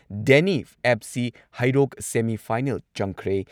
ꯗꯦꯅꯤ F C. Heirok semi final ꯆꯪꯈ꯭ꯔꯦ ꯫